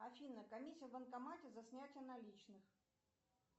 афина комиссия в банкомате за снятие наличных